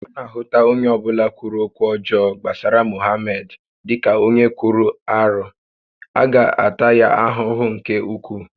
A na ahụta onye ọbụla kwuru okwu ọjọọ gbasara Mohamed dịka onye kwuru arụ, a ga-ata ya ahụhụ nke ukwuu